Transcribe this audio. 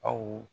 Aw